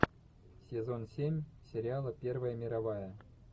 сезон семь сериала первая мировая